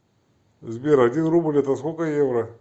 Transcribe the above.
сбер один рубль это сколько евро